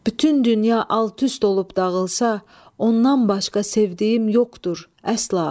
Bütün dünya alt-üst olub dağılsa, ondan başqa sevdiyim yoxdur, əsla.